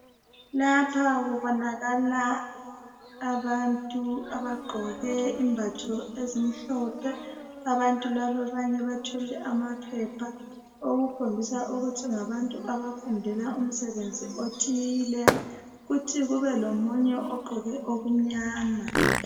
Lapha kubonakala abantu abagqoke izembatho ezimhlophe. Abanye bathwele amaphepha, okukhombisa ukuthi ngabantu abafundela umsebenzi othile. Futhi kube lomunye ogqoke okumnyama.